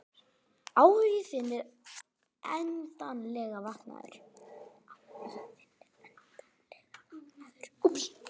Áhugi þinn er endanlega vaknaður.